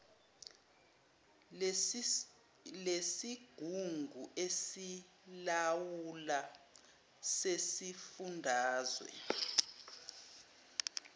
lesigungu esilawulayo sesifundazwe